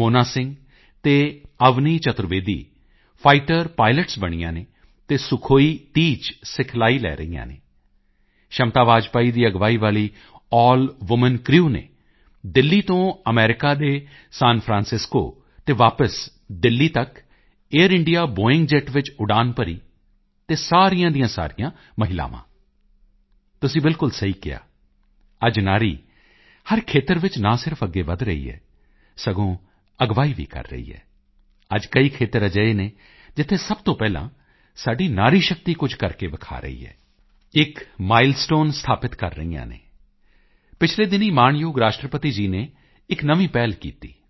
ਮੋਹਨਾ ਸਿੰਘ ਅਤੇ Avani Chaturvedi fighter pilots ਬਣੀਆਂ ਹਨ ਅਤੇ ਸੁਖੋਈ30 ਚ ਸਿਖਲਾਈ ਲੈ ਰਹੀਆਂ ਹਨ ਸ਼ਮਤਾ ਵਾਜਪਾਈ ਦੀ ਅਗਵਾਈ ਵਾਲੀ ਅੱਲ ਵੂਮਨ ਕ੍ਰਿਊ ਨੇ ਦਿੱਲੀ ਤੋਂ ਅਮਰੀਕਾ ਦੇ ਸਾਨ ਫਰਾਂਸਿਸਕੋ ਅਤੇ ਵਾਪਸ ਦਿੱਲੀ ਤੱਕ ਏਆਈਆਰ ਇੰਡੀਆ ਬੋਇੰਗ ਜੇਟ ਵਿੱਚ ਉਡਾਨ ਭਰੀ ਅਤੇ ਸਾਰੀਆਂ ਦੀਆਂ ਸਾਰੀਆਂ ਮਹਿਲਾਵਾਂ ਤੁਸੀਂ ਬਿਲਕੁਲ ਸਹੀ ਕਿਹਾ ਅੱਜ ਨਾਰੀ ਹਰ ਖੇਤਰ ਵਿੱਚ ਨਾ ਸਿਰਫ ਅੱਗੇ ਵਧ ਰਹੀ ਹੈ ਸਗੋਂ ਅਗਵਾਈ ਵੀ ਕਰ ਰਹੀ ਹੈ ਅੱਜ ਕਈ ਖੇਤਰ ਅਜਿਹੇ ਹਨ ਜਿੱਥੇ ਸਭ ਤੋਂ ਪਹਿਲਾਂ ਸਾਡੀ ਨਾਰੀ ਸ਼ਕਤੀ ਕੁਝ ਕਰਕੇ ਵਿਖਾ ਰਹੀ ਹੈ ਇੱਕ ਮਾਈਲਸਟੋਨ ਸਥਾਪਿਤ ਕਰ ਰਹੀਆਂ ਹਨ ਪਿਛਲੇ ਦਿਨੀਂ ਮਾਣਯੋਗ ਰਾਸ਼ਟਰਪਤੀ ਜੀ ਨੇ ਇੱਕ ਨਵੀਂ ਪਹਿਲ ਕੀਤੀ